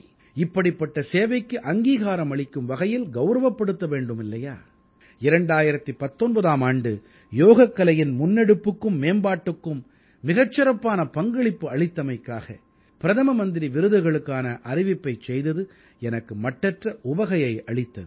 இப்படிப்பட்ட சேவைக்கு அங்கீகாரம் அளிக்கும் வகையில் கௌரவப்படுத்த வேண்டும் இல்லையா 2019ஆம் ஆண்டு யோகக்கலையின் முன்னெடுப்புக்கும் மேம்பாட்டுக்கும் மிகச்சிறப்பான பங்களிப்பு அளித்தமைக்காக பிரதம மந்திரி விருதுகளுக்கான அறிவிப்பைச் செய்தது எனக்கு மட்டற்ற உவகையை அளித்தது